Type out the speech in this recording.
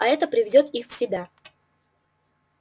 а это приведёт их в себя